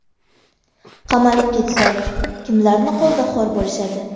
Qamalib ketsak, kimlarni qo‘lida xor bo‘lishadi?